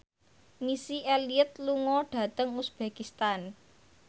Missy Elliott lunga dhateng uzbekistan